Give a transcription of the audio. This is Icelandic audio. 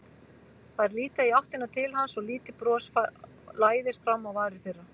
Þær líta í áttina til hans og lítið bros læðist fram á varir þeirra.